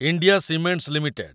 India Cements limited